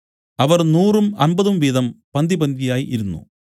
അവർ നൂറും അമ്പതും വീതം പന്തിപന്തിയായി ഇരുന്നു